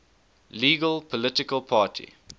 legal political party